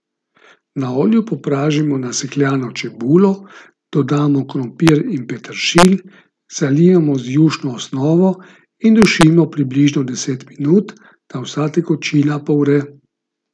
Na olju popražimo nasekljano čebulo, dodamo krompir in peteršilj, zalijemo z jušno osnovo in dušimo približno deset minut, da vsa tekočina povre.